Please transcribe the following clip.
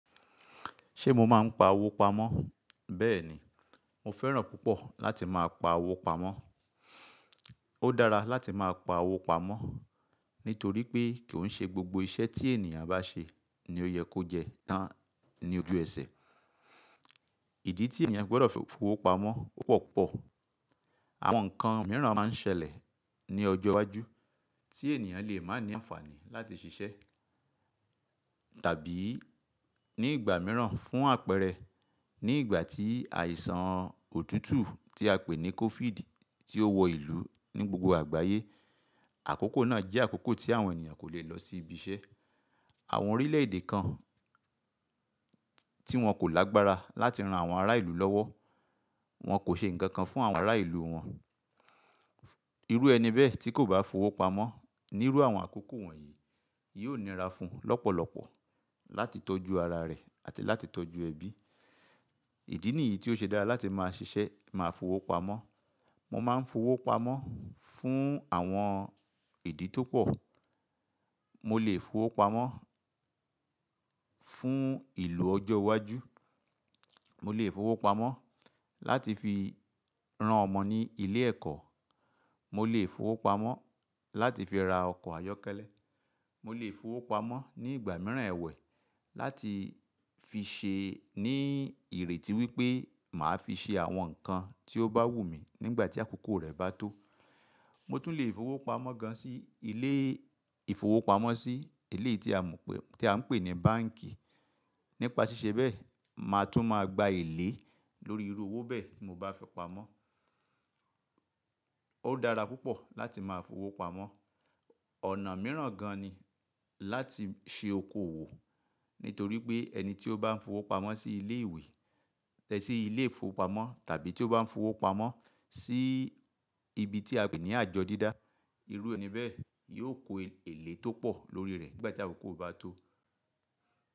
Ṣe mo máa ń pa owó pamọ́? Bẹ́ẹ̀ ni, mo fẹ́ràn púpọ̀ láti máa pa owó pamọ́. Ó dára láti máa pa owó pamọ́ nítorí pé kì í ṣe gbogbo iṣẹ́ tí ènìyàn bá ṣe ni ó yẹ kó jẹ tán ní ojú ẹsẹ̀. Ìdí tí ènìyàn gbọdọ̀ fowó pamọ́ ó pọ̀ púpọ̀. Àwọn nǹkan mìíràn máa ń ṣẹlẹ̀ ní ọjọ́ iwájú tí ènìyàn lè má ní àǹfààní láti ṣiṣẹ́. Tàbí ní ìgbà mìíràn fún àpẹẹrẹ ní ìgbà tí àìsàn òtútù tí a pè ní COVID tí ó wọ ìlú ní gbogbo àgbáyé. Àkókò náà jẹ́ àkókò tí àwọn ènìyàn kò lè lọ sí ibi iṣẹ́. Àwọn orílẹ̀ èdè kan tí wọn kò lágbára láti ran àwọn ará ìlú lọ́wọ́, wọn kò ṣe nǹkan kan fún àwọn ará ìlú wọn. Irú ẹni bẹ́ẹ̀ tí kò bá fowó pamọ́ níru àwọn àkókò wọ̀nyí, yóò nira fún lọ́pọ̀lọpọ̀ láti tọ́jú ara rẹ̀ àti láti tọ́jú ẹbí. Ìdí nìyí tí ó ṣe dára láti máa ṣiṣẹ́ máa fowó pamọ́. Mo máa ń fowó pamọ́ fún àwọn ìdí tó pọ̀. Mo lè fowó pamọ́ fún ìlò ọjọ́ iwájú. Mo lè fowó pamọ́ láti fi ran ọmọ ní ilé ẹ̀kọ́. Mo lè fowó pamọ́ láti fi ra ọkọ̀ ayọ́kẹ́lẹ́. Mo lè fowó pamọ́ ní ìgbà mìíràn ẹ̀wẹ̀ láti fi ṣe ní ìrètí wípé màá fi ṣe àwọn nǹkan tí ó bá wù mí nígbà tí àkókò rẹ̀ bá tó. Mo tún lè fowó pamọ́ gan sí ilé ìfowópamọ́sí, ilé tí à ń pè ní báǹkì. Nípa ṣíṣe bẹ́ẹ̀, màá tún máa gba èlé lórí irú owó bẹ́ẹ̀ tí mo bá fi pamọ́. Ó dára púpọ̀ láti máa fowó pamọ́. Ọ̀nà mìíràn gan ni láti ṣe okòwò nítorí pé ẹni tí ó bá ń fowó pamọ́ sí ilé ìwé, tẹ́ sí ilé ìfowópamọ́ tàbí tí ó bá ń fowó pamọ́ sí ibi tí a pè ní àjọ dídá, irú ẹni bẹ́ẹ̀ yóò kó èlé tó pọ̀ lórí rẹ̀ nígbà tí àkókò bá tó.